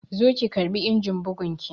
Zo ki karɓi injin bugun ki!